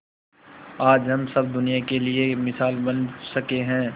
आज हम सब दुनिया के लिए मिसाल बन सके है